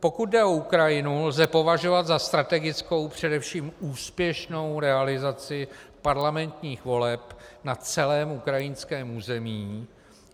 Pokud jde o Ukrajinu, lze považovat za strategickou především úspěšnou realizaci parlamentních voleb na celém ukrajinském území.